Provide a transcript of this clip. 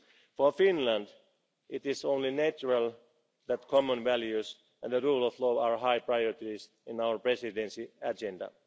values. For Finland, it is only natural that common values and the rule of law are high priorities on our presidency